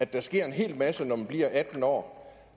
der sker en hel masse når man bliver atten år